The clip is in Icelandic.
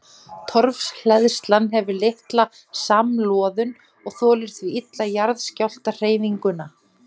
Torfhleðslan hefur litla samloðun og þolir því illa jarðskjálftahreyfinguna.